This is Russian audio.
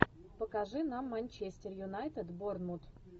покажи нам манчестер юнайтед борнмут